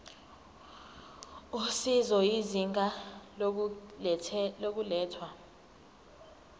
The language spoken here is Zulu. usizo izinga lokulethwa